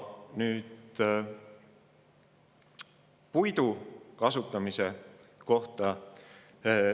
Nüüd puidu kasutamise kohta.